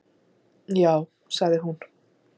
Já sagði hún.